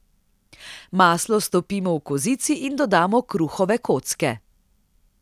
Maslo stopimo v kozici in dodamo kruhove kocke.